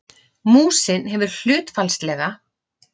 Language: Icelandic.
Músin hefur hlutfallslega